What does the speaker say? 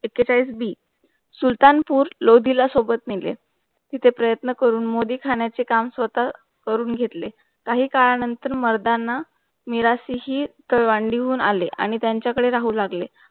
एक्केचाळीस बी सुलतानपूर लोधीला सोबत निघेल. तिथे प्रयत्न करून मोदीखाण्याचे काम स्वतः करून घेतले. काही काळानंतर मर्दांना मीरा शिशी कळवंडीहून आले आणि त्यांच्याकडे राहू लागले.